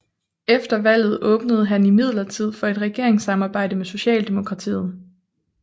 Efter valget åbnede han imidlertid for et regeringssamarbejde med Socialdemokratiet